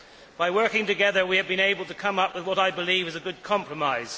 By working together we have been able to come up with what, I believe, is a good compromise.